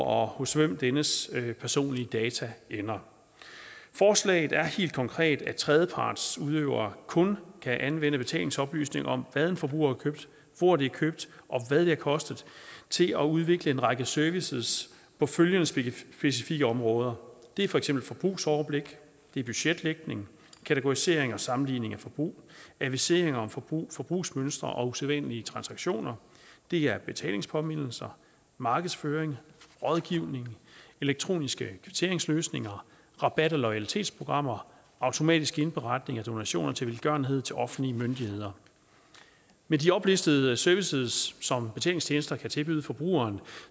og hos hvem dennes personlige data ender forslaget er helt konkret at tredjepartsudøvere kun kan anvende betalingsoplysninger om hvad en forbruger har købt hvor det er købt og hvad det har kostet til at udvikle en række services på specifikke områder det er for eksempel forbrugsoverblik det er budgetlægning kategorisering og sammenligning af forbrug adviseringer om forbrug forbrugsmønstre og usædvanlige transaktioner det er betalingspåmindelser markedsføring rådgivning elektroniske kvitteringsløsninger rabat og loyalitetsprogrammer automatisk indberetning af donationer til velgørenhed til offentlige myndigheder med de oplistede services som betalingstjenester kan tilbyde forbrugeren